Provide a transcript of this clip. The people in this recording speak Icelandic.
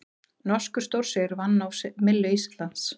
Norskur stórsigur vatn á myllu Íslands